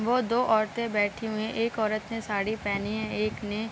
वो दो औरतें बैठी हुई हैं एक औरत ने साड़ी पहनी है एक ने --